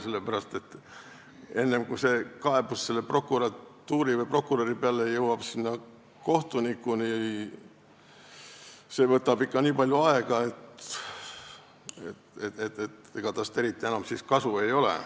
See, kuni kaebus prokuratuuri või prokuröri peale jõuab kohtuniku kätte, võtab ikka nii palju aega, et ega tast eriti enam kasu ei ole.